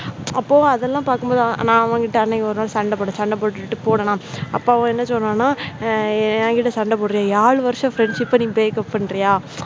அப்போ அதெல்லாம் பார்க்கும்போது ஆனா அவங்க கிட்ட அன்னைக்கு ஒரு நாள் சண்டை போட்டு சண்டை போட்டு போடலாம் அப்போ வந்து என்ன சொல்றாங்க என்கிட்ட சண்டை போடுறியே ஏழு வருஷம் friendship நீ breakup பண்றியா?